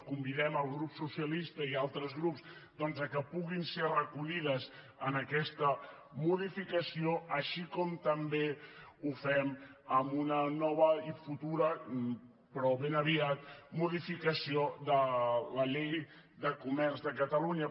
convidem el grup socialista i altres grups que puguin ser recollides en aquesta modificació com també ho fem amb una nova i futura però ben aviat modificació de la llei de comerç de catalunya